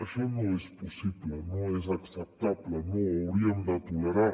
això no és possible no és acceptable no ho hauríem de tolerar